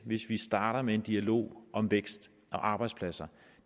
hvis vi starter med en dialog om vækst og arbejdspladser